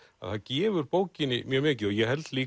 að það gefur bókinni mjög mikið ég held líka